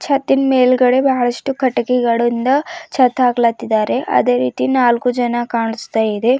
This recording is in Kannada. ಮತ್ತಿಲ್ ಮೇಲ್ಗಡೆ ಬಹಳಷ್ಟು ಕಟ್ಟಿಗೆಗಳಿಂದ ಛತ್ ಹಾಕ್ಲತ್ತಿದ್ದಾರೆ ಅದೇ ರೀತಿ ನಾಲ್ಕು ಜನ ಕಾಣಿಸ್ತಾ ಇದೆ ಮ--